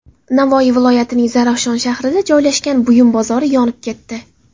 Navoiy viloyatining Zarafshon shahrida joylashgan buyum bozori yonib ketdi.